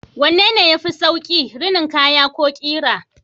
Wanne ne yafi sauƙi, rinin kaya ko ƙira?